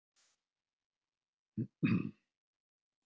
Skyndilega veitti hann því athygli að hann stóð aleinn á sviðinu.